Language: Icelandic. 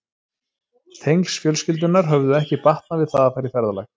Tengsl fjölskyldunnar höfðu ekki batnað við það að fara í ferðalag.